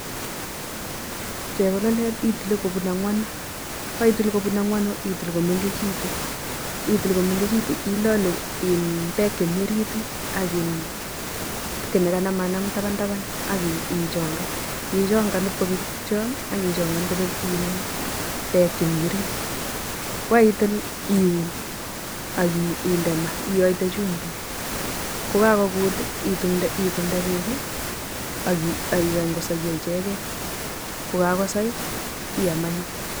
chebololet itile kobun angwanu kokaitil kobun angwanu itil komengejitu, itil komengejitu ilolu [iin] pek chemi orit ak [iin] ki nakanam tapan tapan akichongan, ichongan ibkobek tukcho akichongan kobek [iin] bek chemi orit kokaitil iun akinde ma ioite chumbik kokakogut itumde beki akikany kosoiyo ichgei kokakosai iam anyun.